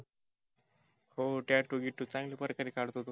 हो tattoo गिटु चांगल्या प्रकारे काढतो तो.